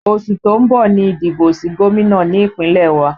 Oṣù tó ń bọ̀ ni ìdìbò sí gómìnà ní Ìpínlẹ̀ wa